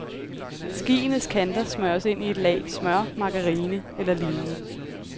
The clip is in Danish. Skienes kanter smøres ind i et lag smør, margarine eller lignende.